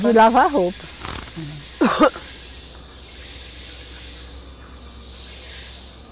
De lavar roupa.